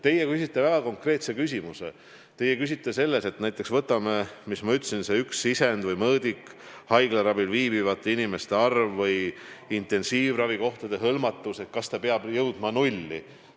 Te küsisite väga konkreetse küsimuse selle kohta, kas see üks sisend või mõõdik, haiglaravil viibivate inimeste arv või intensiivravikohtade hõlmatus, peab jõudma nulli.